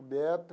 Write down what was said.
O Beto.